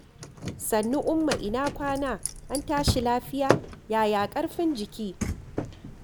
Sannu Umma ina kwana an tashi lafiya, yaya ƙarfin jiki?